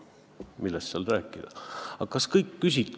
Millest seal rääkida?